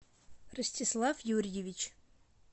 ростислав юрьевич